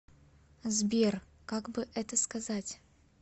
сбер как бы это сказать